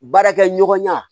Baarakɛ ɲɔgɔnya